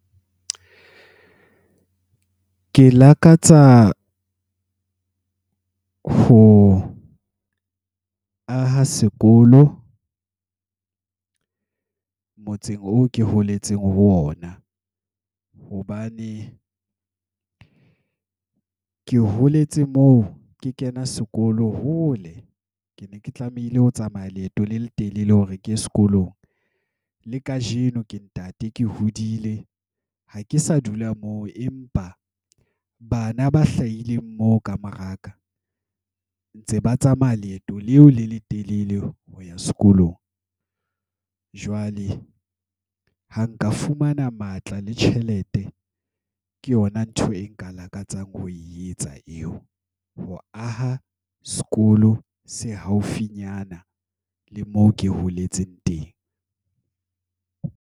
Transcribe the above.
Ke lakatsa ho aha sekolo. Motseng oo ke holetseng ho ona. Hobane, ke holetse moo ke kena sekolo hole. Ke ne ke tlamehile ho tsamaya leeto le letelele hore ke sekolong. Le kajeno ke ntate ke hodile, ha ke sa dula moo. Empa bana ba hlahileng moo ka moraka, ntse ba tsamaya leeto leo le letelele ho ya sekolong. Jwale ha nka fumana matla le tjhelete, ke yona ntho e nka lakatsang ho e etsa eo. Ho aha sekolo se haufinyana, le moo ke holetseng teng.